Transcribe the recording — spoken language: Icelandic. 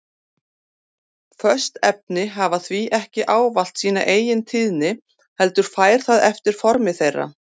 Föst efni hafa því ekki ávallt sína eigintíðni heldur fer það eftir formi þeirra.